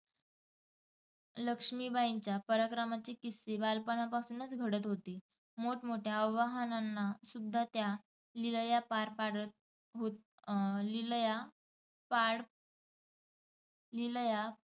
लक्ष्मीबाईंच्या पराक्रमाचे किस्से बालपणापासूनच घडत होते. मोठमोठ्या आवाहनांना त्या लिलया पार पाडत हो अं लिलया पार लिलया